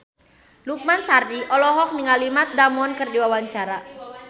Lukman Sardi olohok ningali Matt Damon keur diwawancara